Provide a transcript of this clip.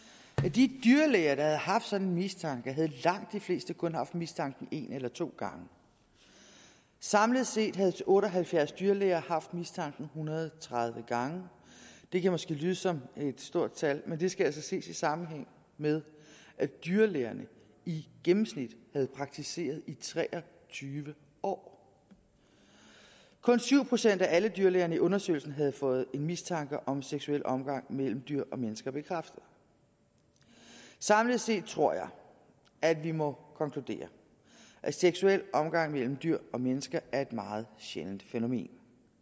de dyrlæger der havde haft sådan en mistanke havde langt de fleste kun haft mistanken en eller to gange samlet set havde otte og halvfjerds dyrlæger haft mistanken hundrede og tredive gange det kan måske lyde som et stort tal men det skal altså ses i sammenhæng med at dyrlægerne i gennemsnit havde praktiseret i tre og tyve år kun syv procent af alle dyrlægerne i undersøgelsen havde fået en mistanke om seksuel omgang mellem dyr og mennesker bekræftet samlet set tror jeg at vi må konkludere at seksuel omgang mellem dyr og mennesker er et meget sjældent fænomen